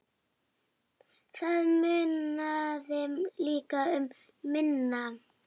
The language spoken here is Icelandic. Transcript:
Það munaði líka um minna.